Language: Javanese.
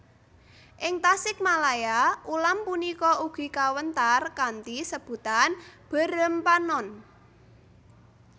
Ing Tasikmalaya ulam punika ugi kawéntar kanthi sebutan beureum panon